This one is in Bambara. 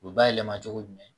U bɛ bayɛlɛma cogo jumɛn